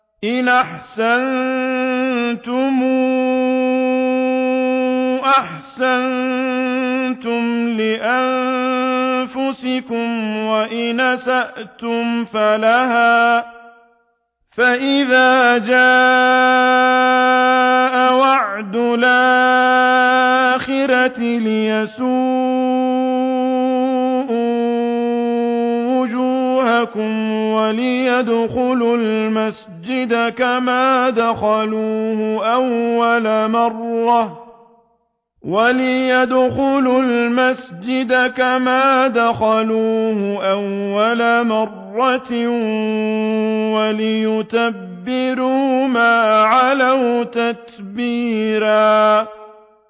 إِنْ أَحْسَنتُمْ أَحْسَنتُمْ لِأَنفُسِكُمْ ۖ وَإِنْ أَسَأْتُمْ فَلَهَا ۚ فَإِذَا جَاءَ وَعْدُ الْآخِرَةِ لِيَسُوءُوا وُجُوهَكُمْ وَلِيَدْخُلُوا الْمَسْجِدَ كَمَا دَخَلُوهُ أَوَّلَ مَرَّةٍ وَلِيُتَبِّرُوا مَا عَلَوْا تَتْبِيرًا